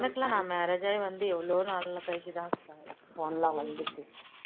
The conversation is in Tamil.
எனக்குலாம் நான் marriage ஆகி வந்து எவ்ளோ நாள் கழிச்சு தான் phone லாம் வந்தது